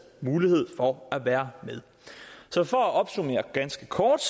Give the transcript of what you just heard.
mulighed for at være med så for at opsummere ganske kort